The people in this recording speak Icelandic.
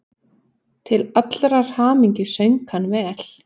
Til allrar hamingju söng hann vel!